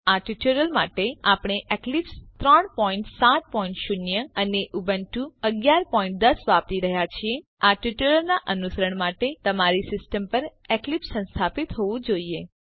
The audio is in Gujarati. આ ટ્યુટોરીયલ માટે આપણે એક્લીપ્સ 370 અને ઉબુન્ટુ 1110 વાપરી રહ્યા છીએ આ ટ્યુટોરીયલનાં અનુસરણ માટે તમારી સીસ્ટમ પર એક્લીપ્સ સંસ્થાપિત હોવું જોઈએ